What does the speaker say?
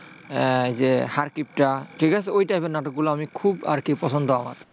এই যে হারকিপটা ঠিক আছে, ওই type এর নাটকগুলো আমি খুব আরকি পছন্দ আমার।